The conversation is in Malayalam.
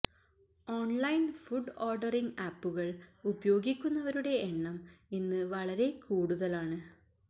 ഓൺലൈൻ ഫുഡ് ഓഡറിങ് ആപ്പുകൾ ഉപയോഗിക്കുന്നവരുടെ എണ്ണം ഇന്ന് വളരെ കൂടുതലാണ്